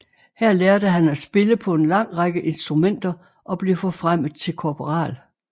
Her lærte han at spille på en lang række instrumenter og blev forfremmet til korporal